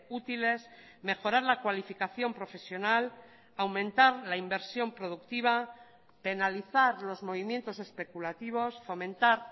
útiles mejorar la cualificación profesional aumentar la inversión productiva penalizar los movimientos especulativos fomentar